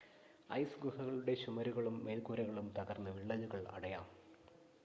ice ഗുഹകളുടെ ചുമരുകളും മേൽക്കൂരകളും തകർന്ന് വിള്ളലുകൾ അടയാം